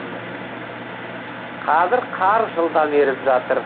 қазір қар жылдам еріп жатыр